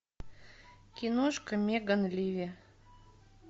киношка меган ливи